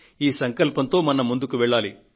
ఈ సంకల్పంతో మనం ముందుకు వెళ్లాలి